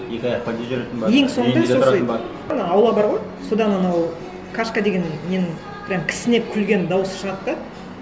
екі аяқ ең соңында сосын ана аула бар ғой содан анау кашка деген ненің прямо кісінеп күлген дауысы шығады да